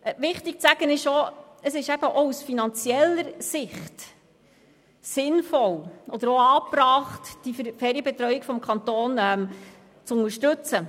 Wichtig zu erwähnen ist, dass es auch in finanzieller Hinsicht sinnvoll oder angebracht ist, die Ferienbetreuung durch den Kanton zu unterstützen.